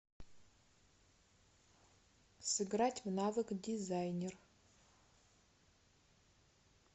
сыграть в навык дизайнер